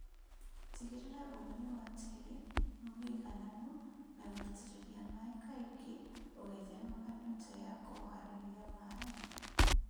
Tigĩrĩra ũgunyu wa tĩri ni mũigananu na gũitĩrĩria maĩĩ kaingĩ ũgĩthemaga nyota na kũarahia maĩĩ